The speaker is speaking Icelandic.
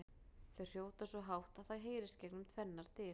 Þau hrjóta svo hátt að það heyrist gegnum tvennar dyr!